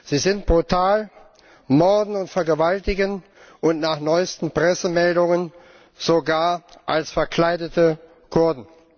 Sie sind brutal, morden und vergewaltigen, und nach neuesten Pressemeldungen sogar als verkleidete Kurden.